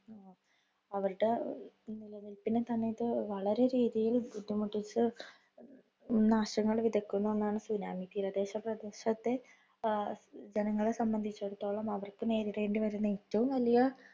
അവരുടെ നിലനില്പിന് സമയത്ത് വളരെ രീതിയില്‍ ബുദ്ധിമുട്ടിച്ച് നാശങ്ങള്‍ വിതയ്ക്കുന്ന ഒന്നാണ് tsunami. തീരദേശപ്രദേശത്തെ ആഹ് ജനങ്ങളെ സംബന്ധിച്ചിടത്തോളം അവര്‍ക്ക് നേരിടേണ്ടി വരുന്ന ഏറ്റവും വലിയ